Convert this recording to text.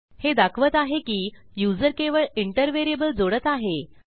हे दाखवत आहे की युजर केवळ इंटर व्हेरिएबल जोडत आहे